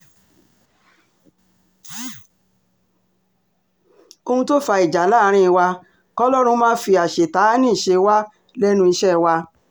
ohun tó fa ìjà láàrin wa kọ́lọ́run má fi àṣetánẹ́ẹ̀tì ṣe wá lẹ́nu iṣẹ́ wa